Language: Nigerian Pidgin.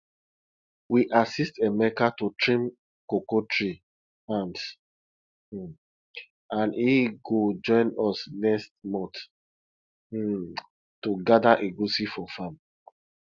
we assist emeka to trim cocoa tree hands um and he go join us next month um to gather egusi for farm